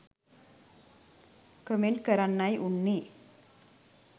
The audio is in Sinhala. කමෙන්ට් කරන්නයි උන්නේ.